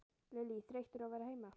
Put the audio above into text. Lillý: Þreyttur á að vera heima?